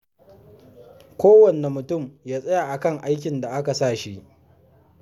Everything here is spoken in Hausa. Kowane mutum ya tsaya a kan aikin da aka sa shi.